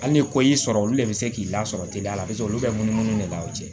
Hali ni ko y'i sɔrɔ olu de bɛ se k'i lasɔrɔ teliya la paseke olu bɛ munumunu de la o cɛ